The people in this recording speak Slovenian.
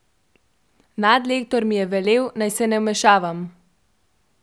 Nadlektor mi je velel, naj se ne vmešavam.